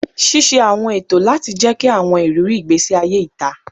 Ṣiṣe awọn eto lati jẹki awọn iriri igbesi aye ita